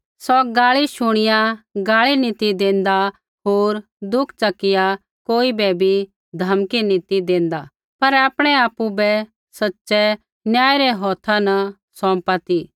सौ गाल़ी शुणिया गाल़ी नी ती देंदा होर दुख च़किया कोई बै भी धमकी नी ती देंदा पर आपणै आपु बै सच़ै न्यायी रै हौथा न सौंपा ती